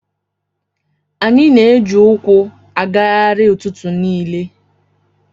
Anyị na-eji ụkwụ agagharị ụtụtụ niile.